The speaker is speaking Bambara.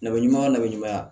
Ne bɛ ɲumanya la bɛ ɲumanya